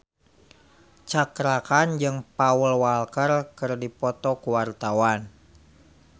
Cakra Khan jeung Paul Walker keur dipoto ku wartawan